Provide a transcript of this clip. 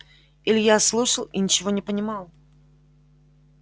илья слушал и ничего не понимал